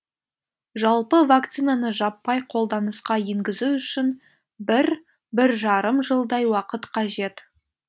жалпы вакцинаны жаппай қолданысқа енгізу үшін бір бір жарым жылдай уақыт қажет